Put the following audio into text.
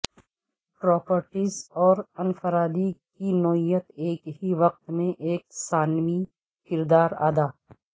properties اور انفرادی کی نوعیت ایک ہی وقت میں ایک ثانوی کردار ادا